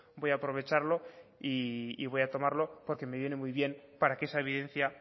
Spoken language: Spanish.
voy a aprovecharlo y voy a tomarlo porque me viene muy bien para que esa evidencia